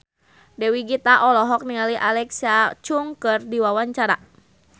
Dewi Gita olohok ningali Alexa Chung keur diwawancara